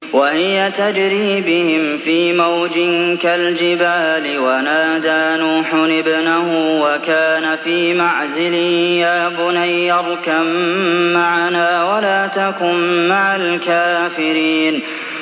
وَهِيَ تَجْرِي بِهِمْ فِي مَوْجٍ كَالْجِبَالِ وَنَادَىٰ نُوحٌ ابْنَهُ وَكَانَ فِي مَعْزِلٍ يَا بُنَيَّ ارْكَب مَّعَنَا وَلَا تَكُن مَّعَ الْكَافِرِينَ